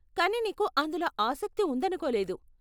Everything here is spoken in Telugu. కానీ నీకు అందులో ఆసక్తి ఉందనుకోలేదు.